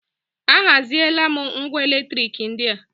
A haziela m ngwá elektrik ndị a.